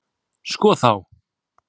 Sko þá!